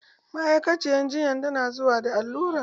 Ma'aikaciyar jinya ta na zuwa da alluran